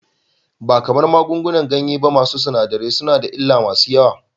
Ba kamar magungunan ganye ba, masu sinadarai suna da illa masu yawa.